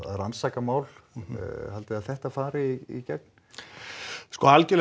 rannsaka mál haldiði að þetta fari í gegn sko algjörlega